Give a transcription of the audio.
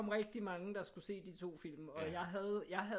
Rigtig mange der skulle se de 2 film og jeg havde jeg havde